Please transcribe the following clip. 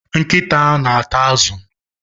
Nkịta na ata azụ.